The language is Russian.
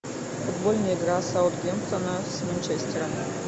футбольная игра саутгемптона с манчестером